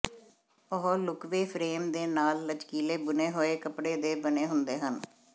ਉਹ ਲੁਕਵੇਂ ਫਰੇਮ ਦੇ ਨਾਲ ਲਚਕੀਲੇ ਬੁਣੇ ਹੋਏ ਕੱਪੜੇ ਦੇ ਬਣੇ ਹੁੰਦੇ ਹਨ